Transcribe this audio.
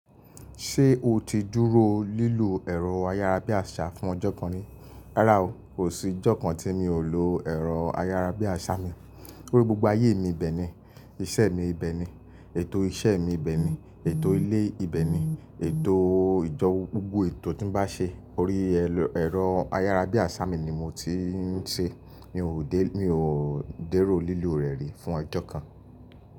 Ṣé o ti dúró lílu ẹ̀rọ ayárabíàṣá fún ọjọ́ kan rí? Rárá o, kò sí ọjọ́ kan tí mi ò lo ẹ̀rọ ayárabíàṣá mi. Orí gbogbo ayé mi ibẹ̀ ni, iṣẹ́ mi ibẹ̀ ni, ètò iṣẹ́ mi ibẹ̀ ni, ètò ilé ibẹ̀ ni, ètò ìjọ, gbogbo ètò tí ń bá ṣe orí ẹ̀rọ ayárabíàṣá mi ni mo ti ń ṣe. Mi ò dé, mi ò déró lílu rẹ̀ rí fún ọjọ́ kan.